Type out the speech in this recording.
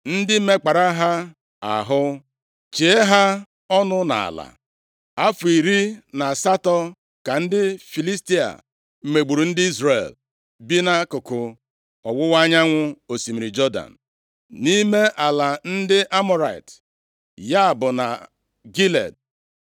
ndị mekpara ha ahụ, chie ha ọnụ nʼala. Afọ iri na asatọ ka ndị Filistia megburu ndị Izrel bi nʼakụkụ ọwụwa anyanwụ osimiri Jọdan, nʼime ala ndị Amọrait, ya bụ na Gilead.